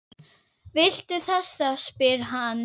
Viltu þessa? spyr hann.